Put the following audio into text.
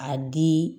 A di